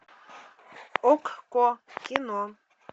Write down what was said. окко кино